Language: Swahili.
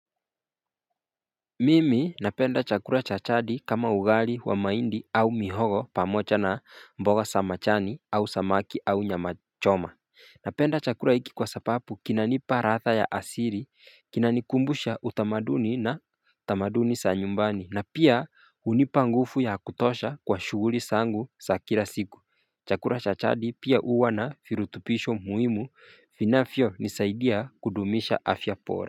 Mimi napenda chakula chajadi kama ugali wa mahindi au mihogo pamoja na mboga za majani au samaki au nyama choma Napenda chakula hiki kwa sababu kinanipa ladhaa ya asili kinanikumbusha utamaduni na utamaduni za nyumbani na pia hunipa nguvu ya kutosha kwa shughuli zangu za kila siku chakula cha jadi pia huwa na virutubisho muhimu vinavyo nisaidia kudumisha afya bora.